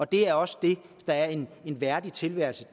det er også det der er en værdig tilværelse